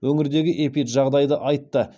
өңірдегі эпиджағдайды айтты